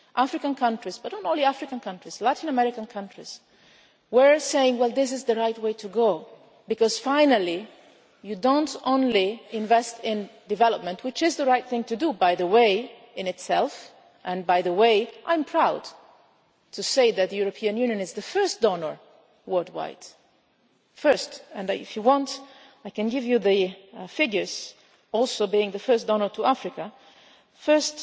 African countries, but not only African countries, Latin American countries, were saying This is the right way to go because finally you are not only investing in development which is the right thing to do, by the way, in itself. And incidentally, I am proud to say that the European Union is the first donor worldwide, it is the first and if you want, I can give you the figures for it also being the first donor to Africa the